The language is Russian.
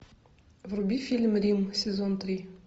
вруби фильм рим сезон три